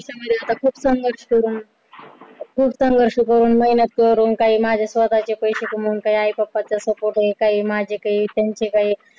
आयुष्यमध्ये आता खूप संघर्ष करून, खुप संघर्ष करून खूप मेहनत करून काही माझे स्वतःचे पैशे कमावून काही आई बाबाच्या support ने काही माझे काही त्यांचे काही